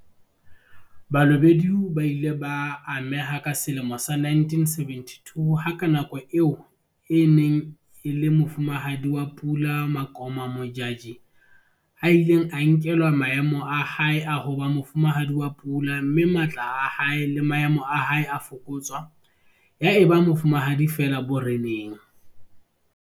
Balobedu ba ile ba ameha ka selemo sa 1972 ha ka nako eo e neng e le Mofumahadi wa Pula Makoma Modjadji a ileng a nkelwa maemo a hae a ho ba Mofumahadi wa Pula mme matla a hae le maemo a hae a fokotswa ya eba mofumahadi feela boreneng.